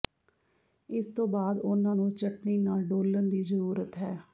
ਇਸ ਤੋਂ ਬਾਅਦ ਉਹਨਾਂ ਨੂੰ ਚਟਣੀ ਨਾਲ ਡੋਲ੍ਹਣ ਦੀ ਜ਼ਰੂਰਤ ਹੈ